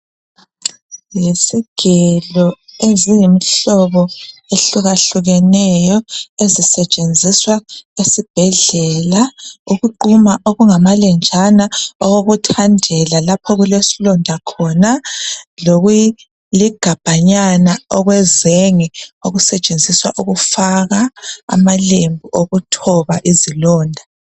Yizigelo eziyimhlobo ehlukahlukeneyo, ezisetshenziswa esibhedlela ukuquma okungamalenjana kokuthadela lapho okulesilonda khona lokuligabhanyana okwezenge okusetshenziswa ukufaka amalembu okuthoba izilonda.